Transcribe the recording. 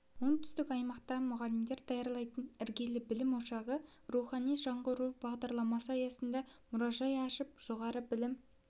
оңтүстік аймақта мұғалімдер даярлайтын іргелі білім ошағы рухани жаңғыру бағдарламасы аясында мұражай ашып жоғары білім